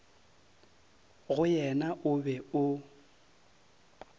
go yena o be o